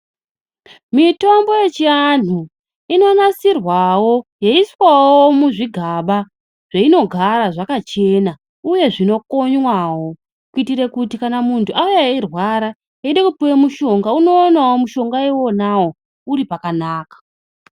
Mitombo yechiantu inonasirwawo yeiswawo muzvigaba zveinogara zvakachena uye zvinokonywawo kuitire kuti kana muntu auya eyirwara eida kupuwa mushonga unowanawo mushongawo uripakanaka.